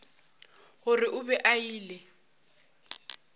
gore o be a ile